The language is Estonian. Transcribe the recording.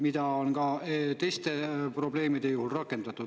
Seda on ka teiste probleemide puhul rakendatud.